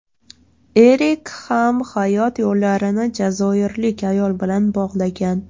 Erik ham hayot yo‘llarini jazoirlik ayol bilan bog‘lagan.